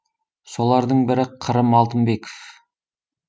солардың бірі қырым алтынбеков